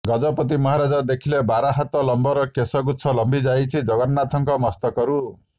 ଗଜପତି ମହାରାଜ ଦେଖିଲେ ବାର ହାତ ଲମ୍ବର କେଶ ଗୁଛ ଲମ୍ବିଯାଇଛି ଜଗନ୍ନାଥଙ୍କ ମସ୍ତକରୁ